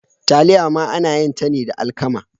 Taliya ma ana yin ta ne da alkama.